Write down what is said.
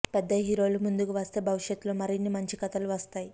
పెద్ద హీరోలు ముందుకు వస్తే భవిష్యత్తులో మరిన్ని మంచి కథలు వస్తాయి